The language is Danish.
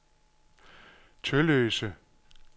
Tølløse